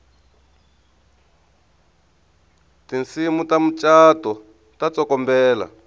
tinsimu ta mucato ta tsokombela